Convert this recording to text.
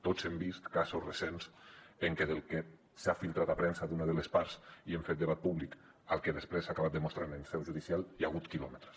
tots hem vist casos recents en què entre el que s’ha filtrat a premsa d’una de les parts i hem fet debat públic i el que després s’ha acabat demostrant en seu judicial hi ha hagut quilòmetres